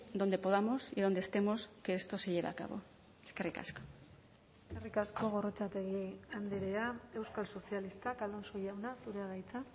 donde podamos y donde estemos que esto se lleve a cabo eskerrik asko eskerrik asko gorrotxategi andrea euskal sozialistak alonso jauna zurea da hitza